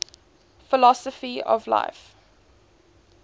philosophy of life